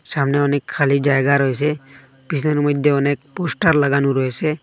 সামনে অনেক খালি জায়গা রয়েসে পিছনে মইধ্যে অনেক পোস্টার লাগানো রয়েসে।